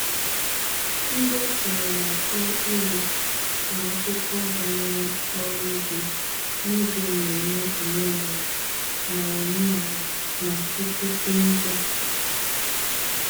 Ndị okenye na-akọ ilu na akụkọ banyere ọrụ ugbo n'oge mmemme omenala na omenala na okpukpe ndị a.